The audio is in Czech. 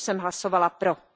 Proto jsem hlasovala pro.